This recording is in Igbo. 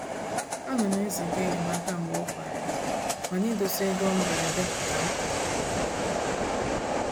A nam eziga enyemaka mgbe okwerem mana idosa ego mberede ka mkpa